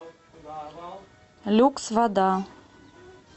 люкс вода